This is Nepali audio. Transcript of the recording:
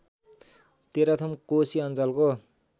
तेह्रथुम कोशी अञ्चलको